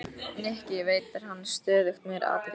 Nikki, veitti henni stöðugt meiri athygli.